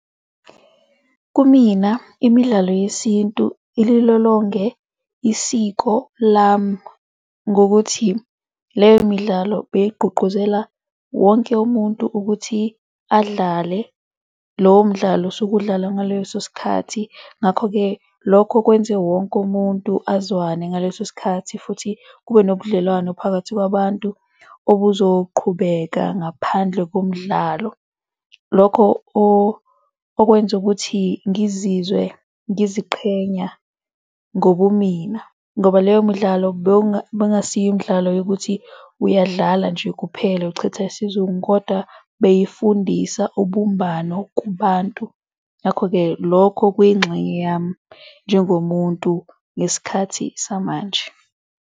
Kumina imidlalo yesintu ililolonge isiko lami ngokuthi leyo midlalo beyigqugquzela wonke umuntu ukuthi adlale lowo mdlalo osuke udlalwa ngaleso sikhathi. Ngakho-ke lokho kwenze wonke umuntu azwane ngaleso sikhathi. Futhi kube nobudlelwano phakathi kwabantu obuzoqhubeka ngaphandle komdlalo. Lokho okwenza ukuthi ngizizwe ngiziqhenya ngobumina ngoba leyo midlalo bengasiyimdlalo yokuthi uyadlala nje kuphela, uchitha isizungu kodwa beyifundisa ubumbano kubantu, ngakho-ke lokho kuyingxenye yami njengomuntu ngesikhathi samanje.